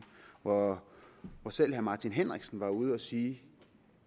og hvor selv herre martin henriksen var ude at sige